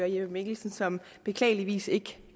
jeppe mikkelsen som beklageligvis ikke